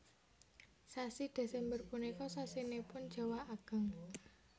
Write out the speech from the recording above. Sasi Desember punika sasinipun jawah ageng